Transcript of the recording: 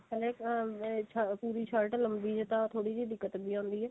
ਪਹਿਲਾਂ ah ਪੂਰੀ shirt ਲੰਬੀ ਤਾਂ ਥੋੜੀ ਜੀ ਦਿੱਕਤ ਜੀ ਆਉਂਦੀ ਏ